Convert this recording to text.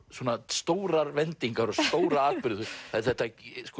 stórar vendingar og stóra atburði þetta